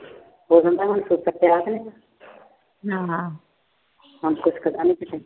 ਉਹ ਕਹਿੰਦਾ ਮੈਨੂੰ ਹੁਣ ਪਤਾ ਨੀ ਕੁਛ